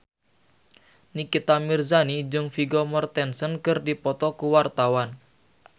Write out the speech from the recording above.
Nikita Mirzani jeung Vigo Mortensen keur dipoto ku wartawan